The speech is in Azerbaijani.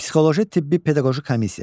Psixoloji tibbi pedaqoji komissiya.